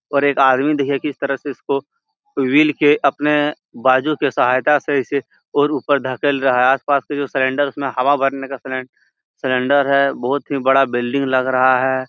और एक आदमी देखिये किस तरह इसको विल के अपने बाजू के सहायता से इसे और ऊपर ढकेल रहा आस-पास के जो सलेंडर्स में हवा भरने का सलें सेलेंडर है बहुत ही बड़ा बिल्डिंग लग रहा है।